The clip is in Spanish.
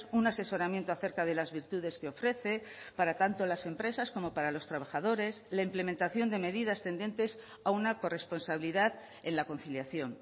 un asesoramiento acerca de las virtudes que ofrece para tanto las empresas como para los trabajadores la implementación de medidas tendentes a una corresponsabilidad en la conciliación